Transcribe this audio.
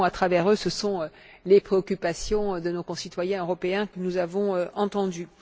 Au fond, à travers eux, ce sont les préoccupations de nos concitoyens européens que nous avons entendues.